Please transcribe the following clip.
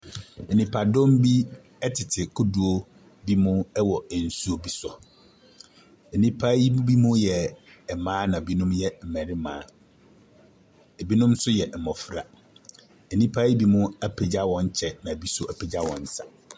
Nnipadɔm bi ɛtete kodoɔ bi so ɛwɔ nsuo bi so. Nnipa yi binom yɛ mmaa na binom yɛ mmarima, ɛbinom nso yɛ mnɔfra. Nnipa yi binom apagya hɔn kyɛ, ɛna ubinom nso apagya hɔn nsa.